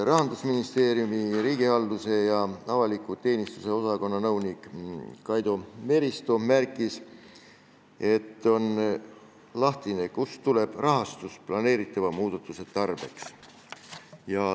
Rahandusministeeriumi riigihalduse ja avaliku teenistuse osakonna nõunik Kaidi Meristo märkis, et on lahtine, kust tuleb rahastus planeeritava muudatuse tarbeks.